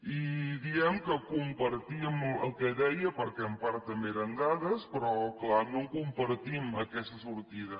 i diem que compartíem el que deia perquè en part també eren dades però clar no compartim aquesta sortida